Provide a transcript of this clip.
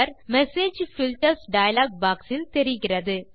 message filters dialog box இல் தெரிகிறது